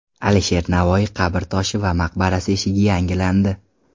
Alisher Navoiy qabr toshi va maqbarasi eshigi yangilandi.